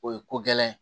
O ye ko gɛlɛn ye